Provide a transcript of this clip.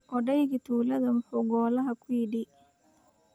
Odaygii tuulada muxuu golaha ku yidhi?